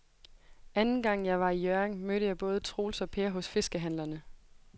Anden gang jeg var i Hjørring, mødte jeg både Troels og Per hos fiskehandlerne.